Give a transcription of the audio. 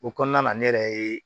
O kɔnɔna na ne yɛrɛ ye